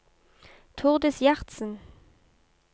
Tordis Gjertsen